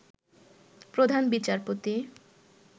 প্রধান বিচারপতি